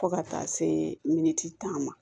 Fo ka taa se tan ma